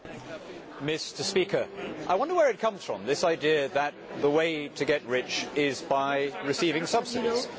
Mr President, I wonder where it comes from, this idea that the way to get rich is by receiving subsidies?